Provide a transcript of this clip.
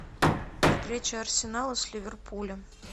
встреча арсенала с ливерпулем